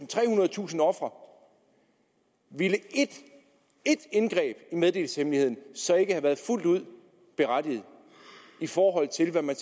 trehundredetusind ofre ville ét ét indgreb i meddelelseshemmeligheden så ikke have været fuldt ud berettiget i forhold til hvad man